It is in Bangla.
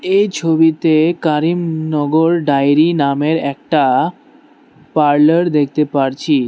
এই ছবিতে কারিম নগর ডায়েরি নামের একটা পার্লার দেখতে পারছি।